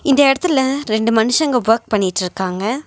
இந்த எடத்துல ரெண்டு மனுஷங்க வர்க் பண்ணிட்ருக்காங்க.